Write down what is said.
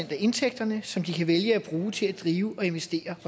af indtægterne som de kan vælge at bruge til at drive og investere i